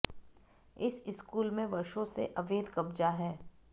इस स्कूल में वर्षों से अवैध कब्जा है